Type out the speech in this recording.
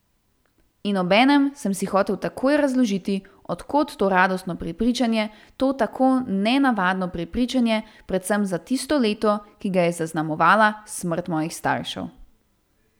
In obenem sem si hotel takoj razložiti, od kod to radostno prepričanje, to tako nenavadno prepričanje, predvsem za tisto leto, ki ga je zaznamovala smrt mojih staršev.